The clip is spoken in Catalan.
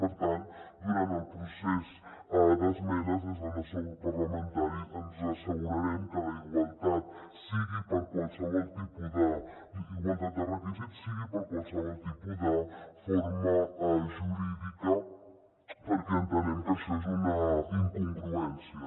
per tant durant el procés d’esmenes des del nostre grup parlamentari ens assegurarem que la igualtat de requisits sigui per a qualsevol tipus de forma jurídica perquè entenem que això és una incongruència